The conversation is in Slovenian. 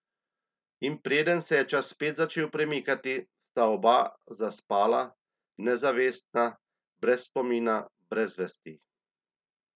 In preden se je čas spet začel premikati, sta oba zaspala, nezavestna, brez spomina, brez vesti.